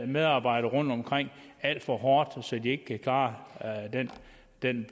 medarbejderne rundtomkring alt for hårdt så de ikke kan klare den